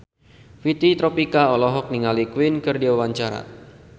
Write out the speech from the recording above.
Fitri Tropika olohok ningali Queen keur diwawancara